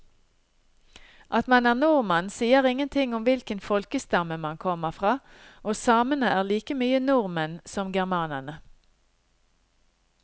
At man er nordmann sier ingenting om hvilken folkestamme man kommer fra, og samene er like mye nordmenn som germanerne.